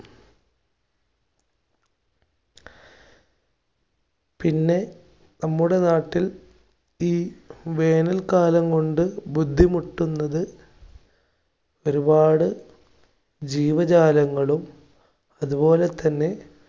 പിന്നെ നമ്മുടെ നാട്ടിൽ ഈ വേനൽ കാലം കൊണ്ട് ബുദ്ധിമുട്ടുന്നത് ഒരുപാട് ജീവജാലങ്ങളും, അതുപോലെതന്നെ